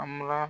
A bara